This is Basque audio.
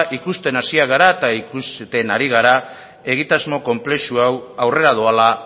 ikusten hasiak gara eta ikusten ari gara egitasmo konplexu hau aurrera doala